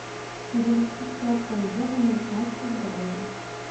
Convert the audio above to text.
перевести пять тенге в американские доллары